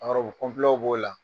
A b'o la.